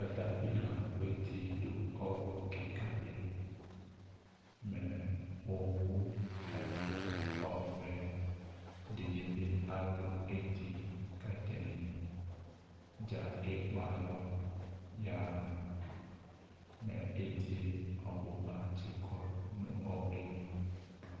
Katapila aku eti do ɔwlu kika de li Mɛ owu ɛfua ɔvɛ de ne be alu eti ko atane dza ekpe alɔ yaha, Mɛ etie ɔbuba tse kɔ no ɔwluɛ li